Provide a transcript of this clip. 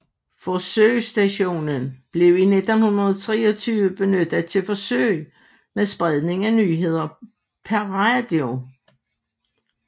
Forsøgsstationen blev i 1923 benyttet til forsøg med spredning af nyheder per radio